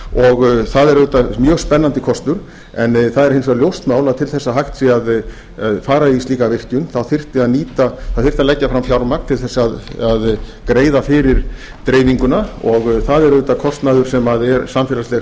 og það er auðvitað mjög spennandi kostur en það er hins vegar ljóst nánar til þess að hægt sé að fara í slíka virkjun þá þyrfti að leggja fram fjármagn til þess að greiða fyrir dreifinguna og það er auðvitað kostnaður sem er samfélagslegs